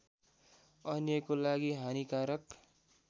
अन्यको लागि हानिकारक